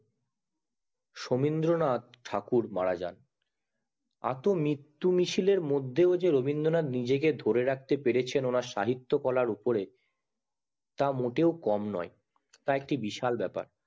সোমেন্দ্রনাথ ঠাকুর মারা যান এত মৃত্যু মিছিল এর মধ্যে দিয়েও রবীন্দ্রনাথ নিজেকে ধরে রাখতে পড়েছে ওনার সাহিত্য কলার উপরে তা মোটেও কম না তা একটি বিশাল ব্যাপার